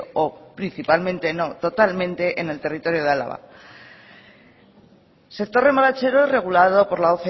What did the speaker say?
o principalmente no totalmente en el territorio de álava sector remolachero regulado por la